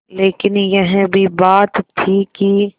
लेकिन यह भी बात थी कि